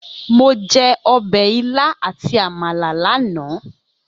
Mo jẹ ọbẹ̀ ilá àti Àmàlà lánàá.